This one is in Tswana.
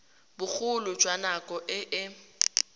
bogolo jwa nako e e